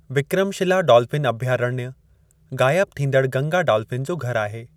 Vikramshila dolphin अभयारण्य, गाइब थींदड़ गंगा डॉल्फिन जो घरु आहे।